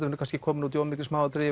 munum kannski komin út í of mikil smáatriði